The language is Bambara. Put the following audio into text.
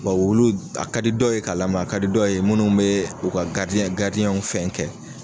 Bɔ wulu d a ka di dɔw ye k'a lama a ka di dɔw ye munnu bee u ka w fɛn kɛ